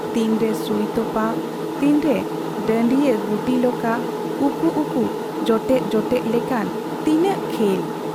ᱛᱤᱱ ᱨᱮ ᱥᱩᱭ ᱛᱚᱯᱟ , ᱛᱤᱱᱨᱮ ᱰᱟᱺᱰᱤᱭᱟᱹ ᱜᱩᱴᱤ ᱞᱚᱠᱟ, ᱩᱠᱩ ᱩᱠᱩ, ᱡᱚᱴᱮᱫ ᱡᱚᱴᱮᱫ ᱞᱮᱠᱟᱱ ᱛᱤᱟᱹᱜ ᱠᱷᱮᱞ ᱾